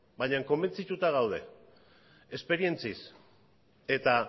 bainan konbentzituta gaude esperientziaz eta